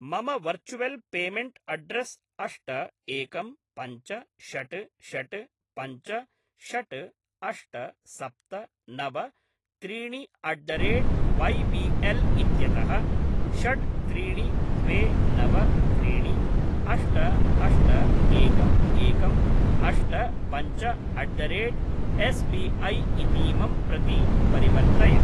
मम virtual payment address अष्ट एकं पञ्च षट् षट् पञ्च षट् अष्ट सप्त नव त्रीणिअट् द रेट् वैबिएल् इत्यतः षट् त्रीणि द्वे नव त्रीणि अष्ट अष्ट एकम् एकम् अष्ट पञ्च अट् द रेट् एस्बिऐ इतीमं प्रति परिवर्तय।